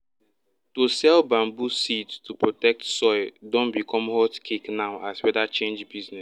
to sell bamboo seeds to protect protect soil don become hot cake now as weather change business